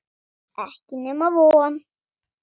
Ekki nema von.